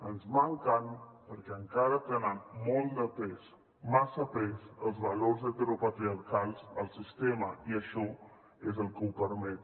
ens maten perquè encara tenen molt de pes massa pes els valors heteropatriarcals al sistema i això és el que ho permet